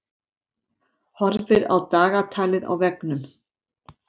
Horfir á dagatalið á veggnum.